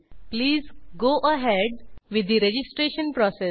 please go ahead with the registration process